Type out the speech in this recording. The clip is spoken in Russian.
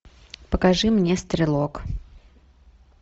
покажи мне стрелок